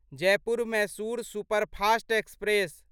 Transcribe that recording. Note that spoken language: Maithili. Jaipur Mysore superfast express